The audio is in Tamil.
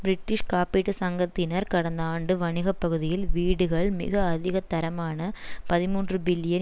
பிரிட்டிஷ் காப்பீட்டுச் சங்கத்தினர் கடந்த ஆண்டு வணிக பகுதிகள் வீடுகள் மிக அதிக தரமான பதிமூன்று பில்லியன்